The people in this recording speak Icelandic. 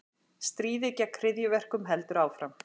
Stríðið gegn hryðjuverkum heldur áfram